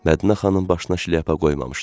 Mədinə xanım başına şlyapa qoymamışdı.